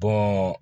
Bɔn